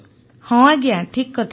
ଅପର୍ଣ୍ଣା ହଁ ଆଜ୍ଞା ଠିକ କଥା